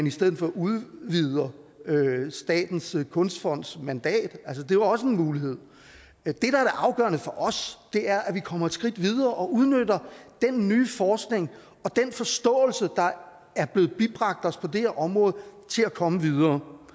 i stedet for udvider statens kunstfonds mandat det er også en mulighed det afgørende for os er at komme et skridt videre og udnytter den nye forskning og den forståelse der er blevet bibragt os på det her område til at komme videre